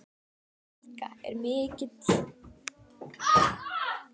Helga: Er mikil reiði í mönnum?